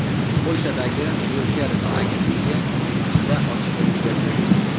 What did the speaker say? Polshadagi Reuters agentligi binosida otishma yuz berdi.